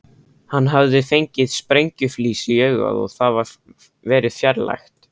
Hann hafði fengið sprengjuflís í augað og það verið fjarlægt.